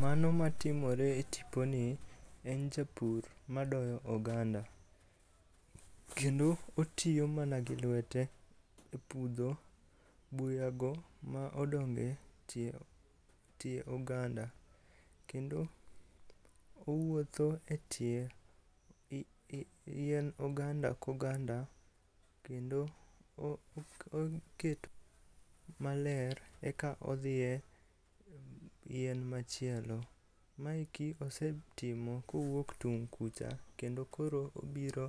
Mano matimore e tiponi en japur madoyo oganda, kendo otiyo mana gi lwete e pudho buyago ma odonge tie oganda, kendo owuotho e tie yien oganda ko oganda kendo oketo maler eka odhie yien machielo. Maeki osetimo kowuok tung' kucha kendo koro obiro